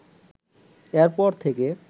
এরপর থেকে